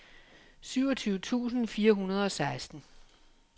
syvogtyve tusind fire hundrede og seksten